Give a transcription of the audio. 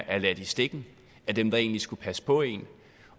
er ladt i stikken af dem der egentlig skulle passe på en